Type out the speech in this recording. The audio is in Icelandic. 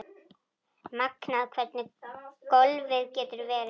Magnað hvernig golfið getur verið.